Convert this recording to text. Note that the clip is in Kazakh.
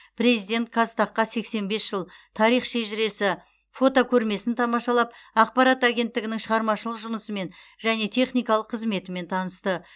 президент қазтаг қа сексен бес жыл тарих шежіресі фотокөрмесін тамашалап ақпарат агенттігінің шығармашылық жұмысымен және техникалық қызметімен танысты